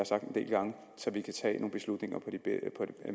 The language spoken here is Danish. sagt en del gange så vi kan tage nogle beslutninger på det